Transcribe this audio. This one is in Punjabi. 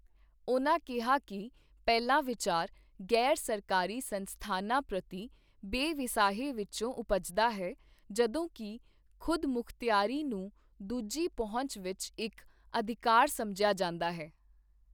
ਉਨ੍ਹਾਂ ਕਿਹਾ ਕਿ ਪਹਿਲਾ ਵਿਚਾਰ ਗ਼ੈਰ ਸਰਕਾਰੀ ਸੰਸਥਾਨਾਂ ਪ੍ਰਤੀ ਬੇਵਿਸਾਹੀ ਵਿੱਚੋਂ ਉਪਜਦਾ ਹੈ, ਜਦੋਂ ਕਿ ਖ਼ੁਦ ਮੁਖਤਿਆਰੀ ਨੂੰ ਦੂਜੀ ਪਹੁੰਚ ਵਿੱਚ ਇੱਕ ਅਧਿਕਾਰ ਸਮਝਿਆ ਜਾਂਦਾ ਹੈ।